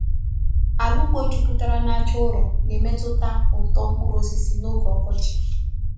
Ala ugbo juputara na aja ụrọ na-emetụta uto mkpụrụ osisi n’oge ọkọchị.